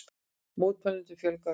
Mótmælendum fjölgar ört